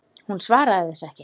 Hún svaraði þessu ekki.